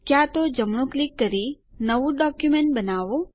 ક્યાં તો જમણું ક્લિક કરી નવું ડોક્યુમેન્ટ બનાવો